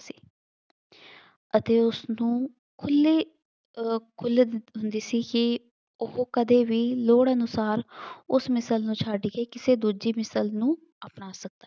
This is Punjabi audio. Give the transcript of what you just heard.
ਅਤੇ ਉਸਨੂੰ ਖੁੱਲੀ ਅਹ ਖੁੱਲ੍ਹ ਹੁੰਦੀ ਸੀ ਕਿ ਉਹ ਕਦੇ ਵੀ ਲੋੜ ਅਨੁਸਾਰ ਉਸ ਮਿਲਸ ਨੂੰ ਛੱਡ ਕੇ ਕਿਸੇ ਦੂਜੀ ਮਿਸਲ ਨੂੰ ਅਪਣਾ ਸਕਦਾ।